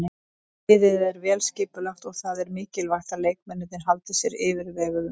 Liðið er vel skipulagt og það er mikilvægt að leikmennirnir haldi sér yfirveguðum.